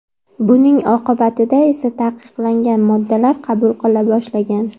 Buning oqibatida esa taqiqlangan moddalar qabul qila boshlagan.